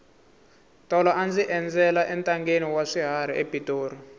tolo a ndzi endzela entangheni wa swiharhi epitori